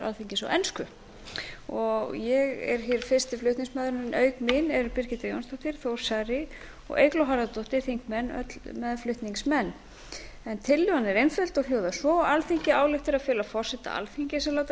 alþingis á ensku ég er hér fyrsti flutningsmaður en auk mín eru birgitta jónsdóttir þór saari og eygló harðardóttir þingmenn öll meðflutningsmenn tillagan er einföld og hljóðar svo alþingi ályktar að fela forseta alþingis að láta